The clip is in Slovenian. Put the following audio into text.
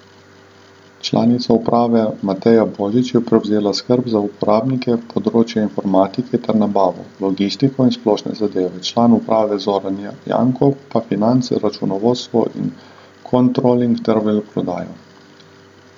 Članica uprave Mateja Božič je prevzela skrb za uporabnike, področje informatike ter nabavo, logistiko in splošne zadeve, član uprave Zoran Janko pa finance, računovodstvo in kontroling ter veleprodajo.